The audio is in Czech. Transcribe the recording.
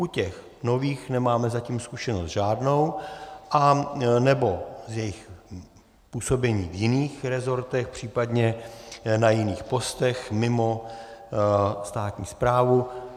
U těch nových nemáme zatím zkušenost žádnou, anebo z jejich působení v jiných rezortech, případně na jiných postech mimo státní správu.